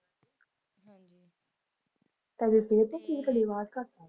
ਤੁਹਾਡੀ ਸਿਹਤ ਤਾਂ ਠੀਕ ਆ ਤੁਹਾਡੀ ਆਵਾਜ਼ ਘੱਟ ਆ